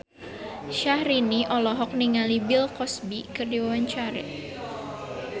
Syahrini olohok ningali Bill Cosby keur diwawancara